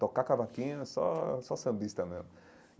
Tocar cavaquinho é só só sambista mesmo.